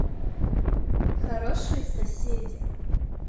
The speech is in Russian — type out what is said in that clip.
хорошие соседи